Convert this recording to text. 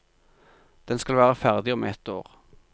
Den skal være ferdig om ett år.